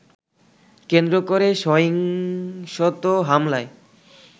কেন্দ্র করে সহিংসত হামলায়